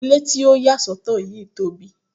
Ile ti o ya sọtọ yii tobi